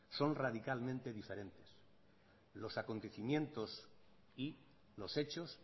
son radicalmente diferentes los acontecimiento y los hechos